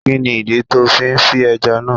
Kí ni ìdí tó fi fí ẹja náà?